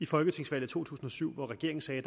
folketingsvalget to tusind og syv hvor regeringen sagde